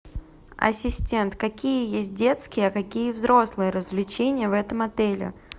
ассистент какие есть детские а какие взрослые развлечения в этом отеле